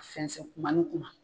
Sɛnsɛn kuma ni kuma